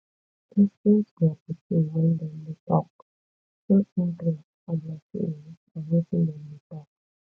lis ten to your pikin when dem dey talk show interest for their feelings and wetin dem dey talk